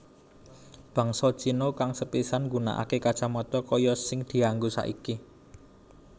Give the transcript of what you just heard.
Bangsa Cina kang sepisanan nggunakaké kacamata kaya sing dianggo saiki